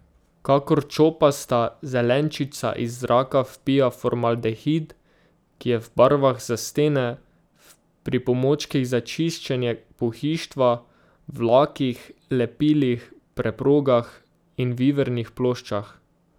Kakor čopasta zelenčica iz zraka vpija formaldehid, ki je v barvah za stene, v pripomočkih za čiščenje pohištva, v lakih, lepilih, preprogah in v ivernih ploščah.